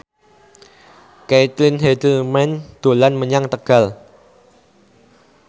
Caitlin Halderman dolan menyang Tegal